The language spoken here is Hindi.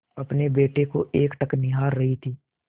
अपने बेटे को एकटक निहार रही थी